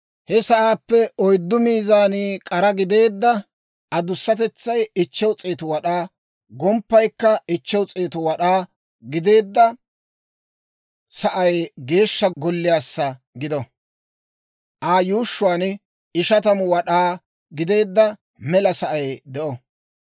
He sa'aappe oyddu maazani k'ara gideedda adusatetsay 500 wad'aa, gomppaykka 500 wad'aa gideedda sa'ay Geeshsha Golliyaassa gido; Aa yuushshuwaan 50 wad'aa gideedda mela sa'ay de'o.